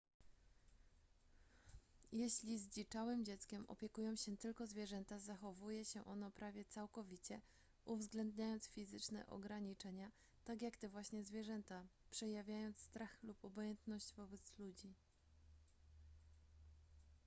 jeśli zdziczałym dzieckiem opiekują się tylko zwierzęta zachowuje się ono prawie całkowicie uwzględniając fizyczne ograniczenia tak jak te właśnie zwierzęta przejawiając strach lub obojętność wobec ludzi